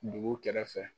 Dugu kɛrɛfɛ